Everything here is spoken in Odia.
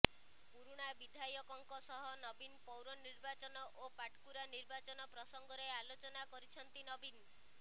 ପୁରୁଣା ବିଧାୟକଙ୍କ ସହ ନବୀନ ପୌର ନିର୍ବାଚନ ଓ ପାଟକୁରା ନିର୍ବାଚନ ପ୍ରସଙ୍ଗରେ ଆଲୋଚନା କରିଛନ୍ତି ନବୀନ